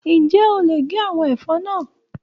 Ǹjẹ́ o lè gé àwọn ẹ̀fọ́ náà?